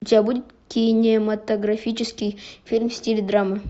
у тебя будет кинематографический фильм в стиле драмы